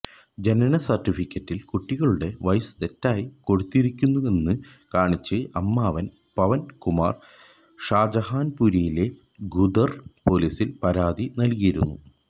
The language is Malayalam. ജനന സർട്ടിഫിക്കറ്റിൽ കുട്ടികളുടെ വയസ്സ് തെറ്റായി കൊടുത്തിരിക്കുന്നുവെന്ന് കാണിച്ച് അമ്മാവൻ പവൻ കുമാർ ഷാജഹാൻപൂരിലെ ഖുദർ പൊലീസിൽ പരാതി നൽകിയിരുന്നു